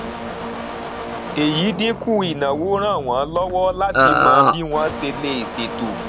èyí dínkù ìnáwó ràn wọn lọwọ láti mọ bí wọn ṣe lè ṣètò